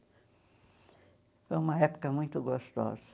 Foi uma época muito gostosa.